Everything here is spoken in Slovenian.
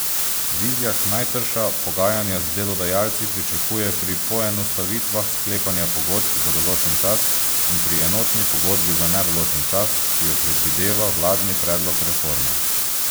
Vizjak najtrša pogajanja z delodajalci pričakuje pri poenostavitvah sklepanja pogodb za določen čas in pri enotni pogodbi za nedoločen čas, ki jo predvideva vladni predlog reforme.